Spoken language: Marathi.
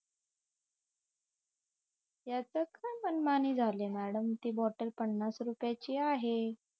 यातच काय मनमानी झाली मॅडम ती बॉटल पन्नास रुपयाची आहे